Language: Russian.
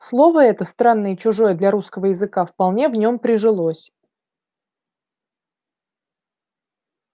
слово это странное и чужое для русского языка вполне в нём прижилось